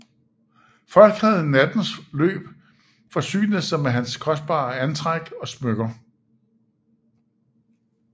Folk havde i nattens løb forsynet sig med hans kostbare antræk og smykker